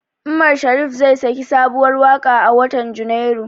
Umar Sharif zai saki sabuwar waƙa a watan Junairu.